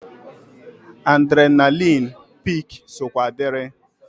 Adrenalịn pik sokwa diri.